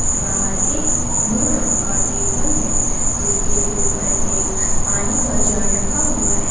बाहर एक ब्लू रंग का टेबल है जिसके ऊपर एक पानी का जार रखा हुआ है।